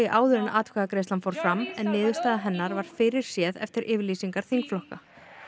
áður en atkvæðagreiðslan fór fram en niðurstaða hennar var fyrirséð eftir yfirlýsingar þingflokka